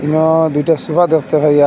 না দুইটা সোফা দেখতে পাই আ--